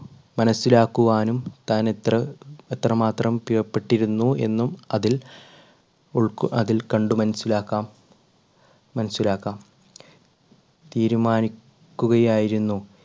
മനസ്സിലാക്കുവാനും താൻ എത്ര എത്രമാത്രം പ്രിയപ്പെട്ടിരുന്നു എന്നും അതിൽ ഉൾക്ക് അതിൽ കണ്ട് മനസ്സിലാക്കാം മനസ്സിലാക്കാം തീരുമാനിക്കുകയായിരുന്നു.